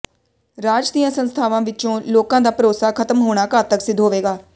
ਰਾਜ ਦੀਆਂ ਸੰਸਥਾਵਾਂ ਵਿਚੋਂ ਲੋਕਾਂ ਦਾ ਭਰੋਸਾ ਖਤਮ ਹੋਣਾ ਘਾਤਕ ਸਿੱਧ ਹੋਵੇਗਾ